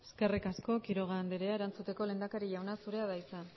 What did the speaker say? eskerrik asko quiroga andrea erantzuteko lehendakari jauna zurea da hitza